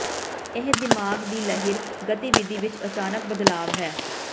ਇਹ ਦਿਮਾਗ ਦੀ ਲਹਿਰ ਗਤੀਵਿਧੀ ਵਿੱਚ ਅਚਾਨਕ ਬਦਲਾਵ ਹੈ